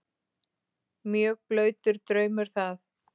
Mjög blautur draumur það.